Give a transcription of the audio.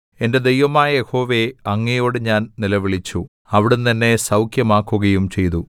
എന്റെ ദൈവമായ യഹോവേ അങ്ങയോട് ഞാൻ നിലവിളിച്ചു അവിടുന്ന് എന്നെ സൗഖ്യമാക്കുകയും ചെയ്തു